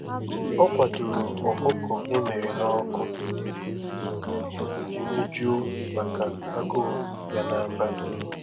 Ọ kwadoro ọkụkọ emere n'ọkụ iji mejuo màkà agụụ ya n'abalị.